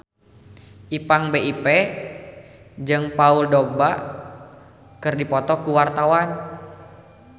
Ipank BIP jeung Paul Dogba keur dipoto ku wartawan